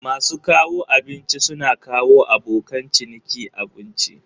Masu kawo abinci suna kawo abokan ciniki abinci.